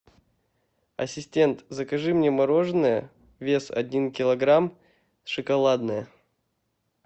ассистент закажи мне мороженое вес один килограмм шоколадное